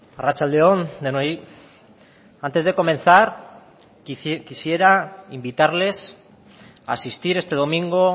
arratsalde on denoi antes de comenzar quisiera invitarles a asistir este domingo